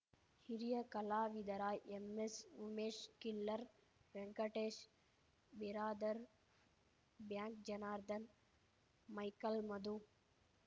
ಹಿರಿಯ ಕಲಾವಿದರಾ ಎಂಎಸ್ಉಮೇಶ್ killer Venkatesh Biradar bank Janardhan Michael ಮಧು